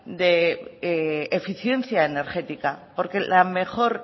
de eficiencia energética porque la mejor